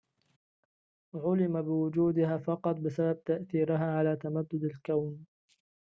عُلم بوجودها فقط بسبب تأثيرها على تمدد الكون